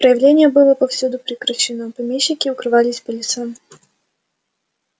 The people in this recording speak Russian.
правление было повсюду прекращено помещики укрывались по лесам